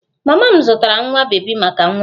Mama m zụtara nwa bebi maka nwa m